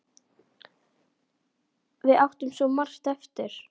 Við áttum svo margt eftir.